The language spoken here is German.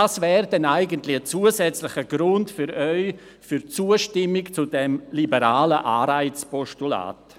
Das wäre dann ein zusätzlicher Grund für Ihre Zustimmung zu diesem liberalen Anreiz-Postulat.